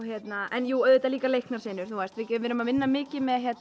en jú auðvitað líka leiknar senur við erum að vinna mikið með